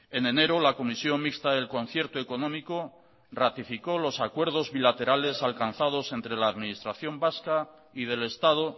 en enero la comisión mixta del concierto económico ratificó los acuerdos bilaterales alcanzados entre la administración vasca y del estado